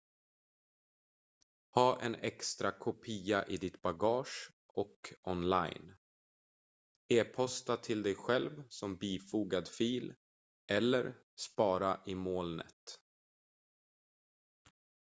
"ha en extra kopia i ditt bagage och online e-posta till dig själv som bifogad fil eller spara i "molnet"".